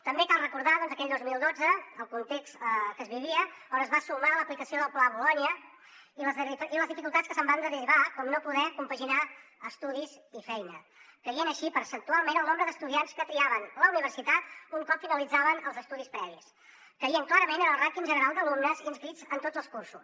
també cal recordar aquell dos mil dotze el context que es vivia al que es va sumar l’aplicació del pla bolonya i les dificultats que se’n van derivar com no poder compaginar estudis i feina caient així percentualment el nombre d’estudiants que triaven la universitat un cop finalitzaven els estudis previs caient clarament el rànquing general d’alumnes inscrits en tots els cursos